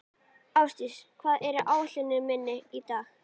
Álfdís, hvað er á áætluninni minni í dag?